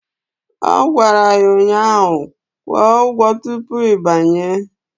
Ọ gwara ya ụnyaahụ "Kwụọ ụgwọ tupu ị banye"!